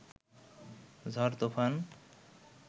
ঝড় তুফান